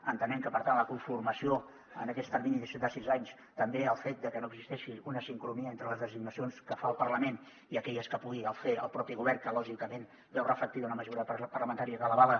entenem que per tant la conformació en aquet termini de sis anys també el fet de que no existeixi una sincronia entre les designacions que fa el parlament i aquelles que pugui fer el propi govern que lògicament veu reflectida una majoria parlamentària que l’avala